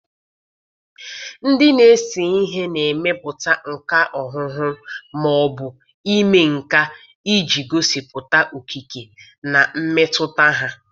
Ndị na-ese ihe na-emepụta nka ọhụhụ ma ọ bụ ime nka iji gosipụta okike na mmetụta ha.